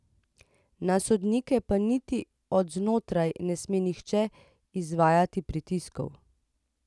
Na sodnike pa niti od znotraj ne sme nihče izvajati pritiskov.